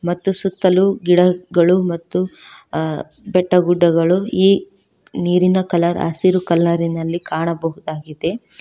ಮತ್ತು ಸುತ್ತಲೂ ಗಿಡಗಳು ಮತ್ತು ಬೆಟ್ಟ ಗುಡ್ಡಗಳು ಈ ನೀರಿನ ಕಲರ್ ಹಸಿರು ಕಲರಿನಲ್ಲಿ ಕಾಣಬಹುದಾಗಿದೆ.